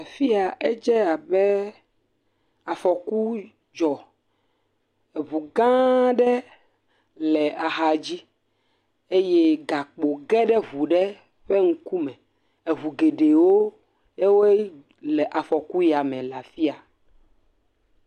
Afi ya edze abe afɔku dzɔ, eŋu gã aɖe le axa dzi eye gakpo ge ɖe eŋu ɖe ƒe ŋkume, eŋu geɖewoe le afɔku ya me le afi ya.